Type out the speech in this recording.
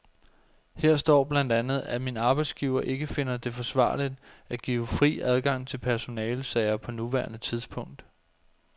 Her står blandt andet, at min arbejdsgiver ikke finder det forsvarligt at give fri adgang til personalesager på nuværende tidspunkt.